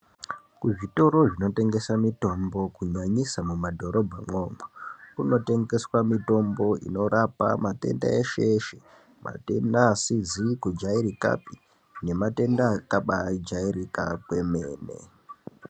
Kuzvitoro zvinotengesa mitombo kunyanyisa mumadhorobhamwomwo, kunotengeswa mitombo inorapa matenda eshe-eshe, matenda asizi kujairikapi nematenda akabaajairika kwemene.